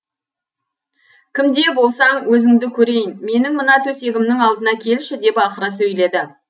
кім де болсаң өзіңді көрейін менің мына төсегімнің алдына келші деп ақыра сөйледі